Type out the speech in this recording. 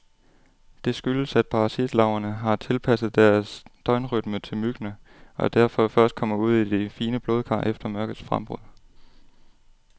Det skyldes, at parasitlarverne har tilpasset deres døgnrytme til myggene, og derfor først kommer ud i de fine blodkar efter mørkets frembrud.